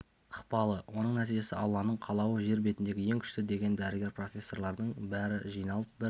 ықпалы оның нәтижесі алланың қалауы жер бетіндегі ең күшті деген дәрігер профессорлардың бәрі жиналып бір